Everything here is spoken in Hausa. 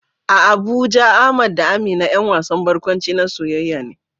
A Abuja Ahmad da Amina ƴan wasan barkwanci na soyayya ne